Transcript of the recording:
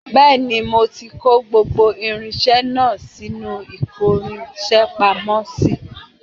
Bẹẹni, mo ti kó gbogbo irinṣẹ́ náà sínú ìkórinṣẹ́ pamọ́ sí